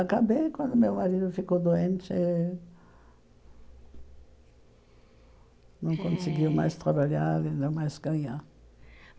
Acabei quando meu marido ficou doente, Eh não conseguiu mais trabalhar e ainda mais ganhar.